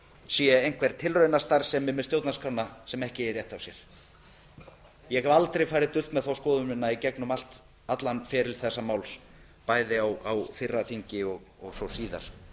sé einhver tilraunastarfsemi með stjórnarskrána sem ekki eigi rétt á sér ég hef aldrei farið dult með þá skoðun mína í gegnum allan feril þessa máls bæði á fyrra þingi og svo síðar